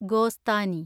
ഗോസ്താനി